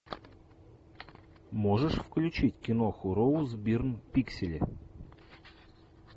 можешь включить киноху роуз бирн пиксели